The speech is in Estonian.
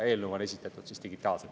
Eelnõu on esitatud digitaalselt.